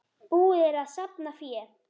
Búið er að safna fé.